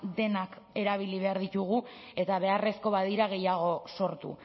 denak erabili behar ditugu eta beharrezko badira gehiago sortu